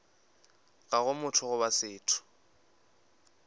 ga go motho goba setho